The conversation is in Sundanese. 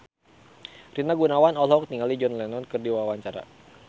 Rina Gunawan olohok ningali John Lennon keur diwawancara